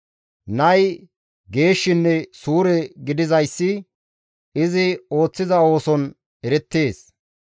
Nay geeshshinne suure gidizayssi izi ooththiza ooson erettees.